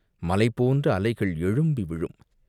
மலை போன்ற அலைகள் எழும்பி விழும்.